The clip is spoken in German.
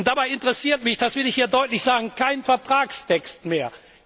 Und dabei interessiert mich das will ich hier deutlich sagen kein Vertragstext mehr.